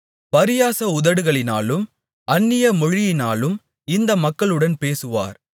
பரியாச உதடுகளினாலும் அந்நிய மொழியினாலும் இந்த மக்களுடன் பேசுவார்